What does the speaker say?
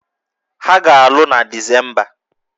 Ha ga-alụ na Disemba